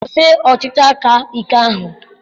Kwụsị ọchịchị aka ike ahụ!